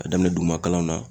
a daminɛn duguma kalanw na.